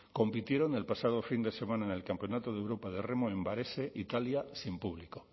compitieron el pasado fin de semana en el campeonato de europa de remo en varese italia sin público